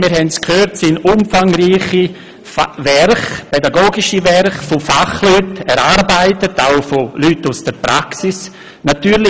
Wie wir gehört haben sind Lehrpläne umfangreiche pädagogische Werke, die von Fachleuten auch aus der Praxis erarbeitet werden.